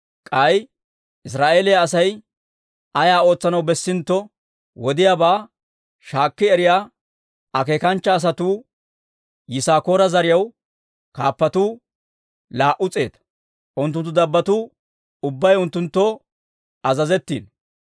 K'ay Israa'eeliyaa Asay ayaa ootsanaw bessintto, wodiyaabaa shaakki eriyaa akeekanchcha asatuu, Yisaakoora zariyaw kaappatuu laa"u s'eeta; unttunttu dabbotuu ubbay unttunttoo azazettiino.